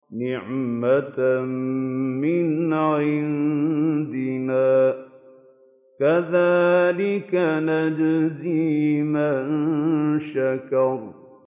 نِّعْمَةً مِّنْ عِندِنَا ۚ كَذَٰلِكَ نَجْزِي مَن شَكَرَ